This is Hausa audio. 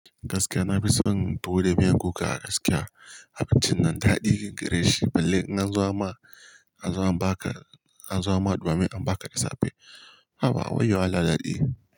Gaskiya na fi son tuwo da miyar kuka gaskiya. Abincin nan daɗi gareshi balle in an zo anma anzo an baka ɗuma me da safe. Haba wayyo Allah daɗi.